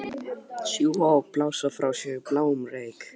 Sjúga og blása frá sér bláum reyk.